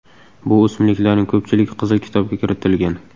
Bu o‘simliklarning ko‘pchiligi Qizil kitobga kiritilgan.